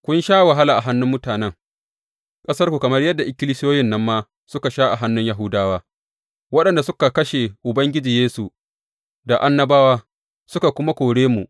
Kun sha wahala a hannun mutanen ƙasarku kamar yadda ikkilisiyoyin nan ma suka sha a hannun Yahudawa, waɗanda suka kashe Ubangiji Yesu da annabawa suka kuma kore mu.